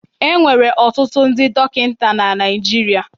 E nwere ọtụtụ ndị dọkịta na Naịjirịa.